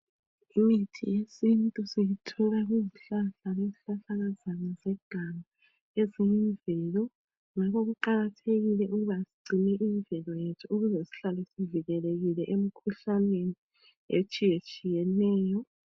Imithi yesintu siyithola kuzihlahla lezihlahlakazana zeganga eziyimvelo .Ngakho kuqakathekile ukuba sigcine imvelo ukuze sihlale sivikelekile emikhuhlaneni etshiyetshiyeneyo.